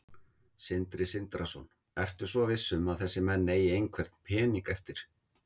Sindri Sindrason: Ertu svo viss um að þessir menn eigi einhvern pening eftir?